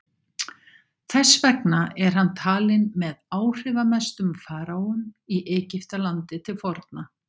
þess vegna er hann talinn með áhrifamestu faraóum í egyptalandi til forna